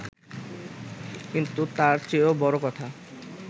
কিন্তু তার চেয়েও বড় কথা